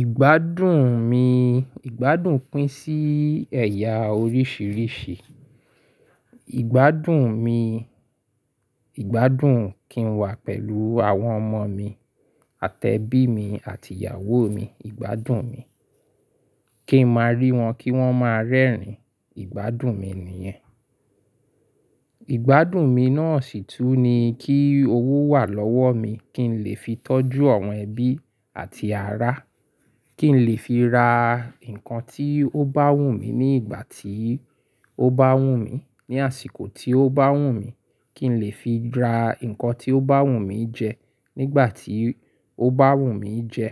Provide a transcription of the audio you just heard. Ìgbádùn mi, ìgbádùn pín sí ẹ̀yà oríṣìíríṣìí. Ìgbádùn mi, ìgbádùn kín wà pẹ̀lú àwọn ọmọ mi àti ẹbí mi àti ìyàwó mi, ìgbádùn mi. Kí n máa rí wọn kí wọ́n máa rẹ́rìn-ín, ìgbádùn mi nìyẹn. Ìgbádùn mi náà sì tún ni kí owó wà lọ́wọ́ mi kí n lè fi tọ́jú àwọn ẹbí àti ará, kí n lè fi ra ǹkan tí ó bá wù mí ní ìgbà tí ó bá wù mí, ní àsìkò tí ó bá wù mí, kí n lè fi ra ǹkan tí ó bá wù mí jẹ nígbà tí ó bá wù mí jẹ